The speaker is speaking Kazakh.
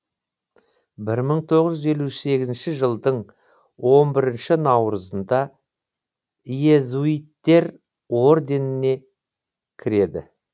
бір мың тоғыз жүз елу сегізінші жылдың он бірінші наурызында иезуиттер орденіне кіреді